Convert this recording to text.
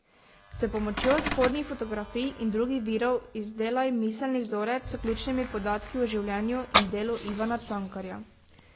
S pomočjo spodnjih fotografij in drugih virov izdelaj miselni vzorec s ključnimi podatki o življenju in delu Ivana Cankarja.